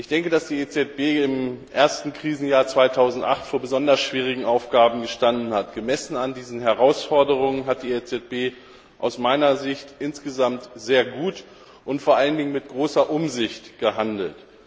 Ich denke, dass die EZB im ersten Krisenjahr 2008 vor besonders schwierigen Aufgaben gestanden hat. Gemessen an diesen Herausforderungen hat die EZB aus meiner Sicht insgesamt sehr gut und vor allen Dingen mit großer Umsicht gehandelt.